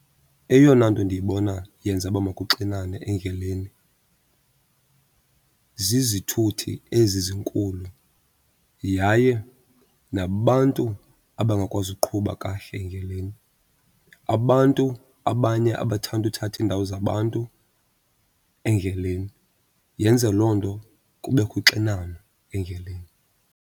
Eyona nto ndiyibona yenza uba makuxinane endleleni zizithuthi ezi zinkulu yaye nabantu abangakwazi uqhuba kahle endleleni, abantu abanye abathanda uthatha indawo zabantu endleleni. Yenze loo nto kubekho uxinano endleleni.